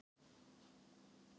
Verjandi mannsins krefst sýknu.